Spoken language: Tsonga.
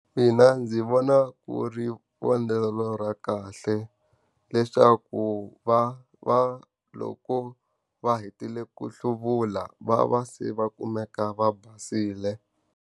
Mina ndzi vona ku ri vonelo ra kahle. Leswaku va va loko va hetile ku hluvula, va va se va kumeka va basile.